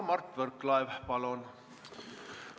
Mart Võrklaev, palun!